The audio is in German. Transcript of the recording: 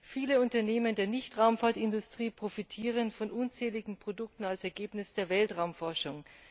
Viele Unternehmen der Nicht Raumfahrtindustrie profitieren von unzähligen Produkten als Ergebnis der Weltraumforschung.